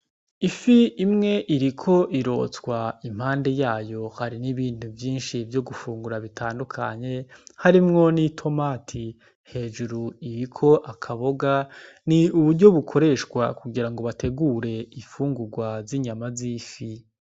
Ifi imwe iriko irotswa impande yayo hari ibindi bintu vyinshi vyo gufungura bitandukanye harimwo n' itomati hejuru iriko akaboga ni uburyo bukoreshwa kugira ngo bategure infungugwa zinyama zinshi.